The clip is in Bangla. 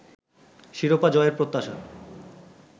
শিরোপা জয়ের প্রত্যাশা